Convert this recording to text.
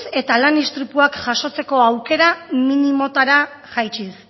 eta lan istripuak jasotzeko aukera minimotara jaitsiz